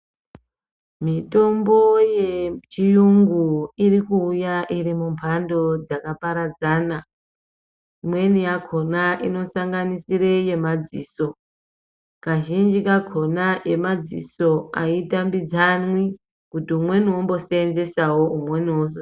Mitombo yechiyungu iri kuuya iri mumhando dzakaparadzana imweni yakona ino sanganisira yemadziso kazhinji kakona yemadziso aitambidzwani kuti umweni ombo seenzesawo umweni ozo seenzesesawo